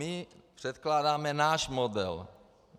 My předkládáme náš model.